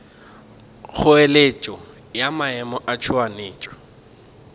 kgoeletšo ya maemo a tšhoganetšo